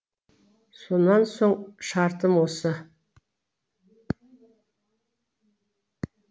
сонан соң шартым осы